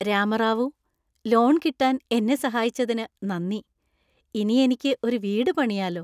Rama Rao, loan കിട്ടാൻ എന്നെ സഹായിച്ചതിന് നന്ദി. ഇനി എനിക്ക് ഒരു വീട് പണിയാലോ .